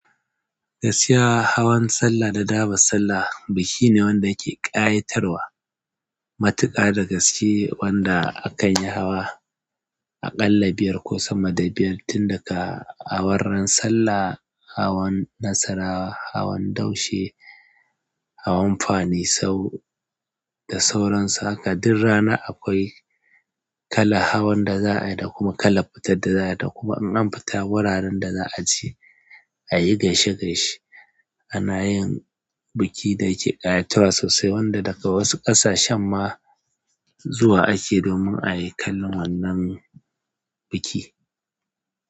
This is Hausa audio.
Gasiya, hawan sallah da daɓan sallah biki ne wanda yake ƙayatarwa. Matuka da gaske wanda akanyi hawa. A ƙalla biyar ko sama da biyar, tun daga awar sallah, hawan nasara, hawan daushe, hawan fanisau da sauransu. Haka duk rana akwai kalan hawan da za a yi da kuma kalan fitar da za a yi da kuma in an fita wuraren da za aje. A yi gaishe gaishe a na yin biki da yake ƙayatarwa sosai wanda daga wasu ƙasashen ma zuwa ake domin ai kallon wannan biki.